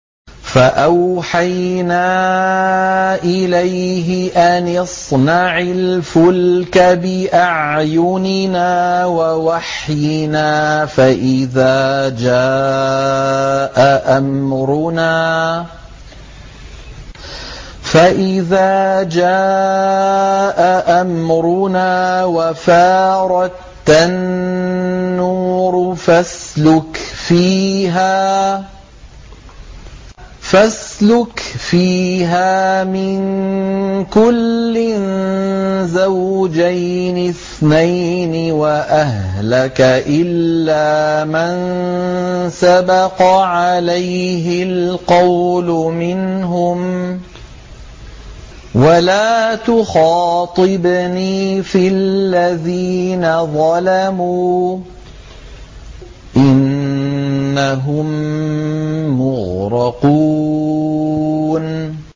فَأَوْحَيْنَا إِلَيْهِ أَنِ اصْنَعِ الْفُلْكَ بِأَعْيُنِنَا وَوَحْيِنَا فَإِذَا جَاءَ أَمْرُنَا وَفَارَ التَّنُّورُ ۙ فَاسْلُكْ فِيهَا مِن كُلٍّ زَوْجَيْنِ اثْنَيْنِ وَأَهْلَكَ إِلَّا مَن سَبَقَ عَلَيْهِ الْقَوْلُ مِنْهُمْ ۖ وَلَا تُخَاطِبْنِي فِي الَّذِينَ ظَلَمُوا ۖ إِنَّهُم مُّغْرَقُونَ